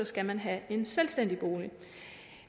skal man have en selvstændig bolig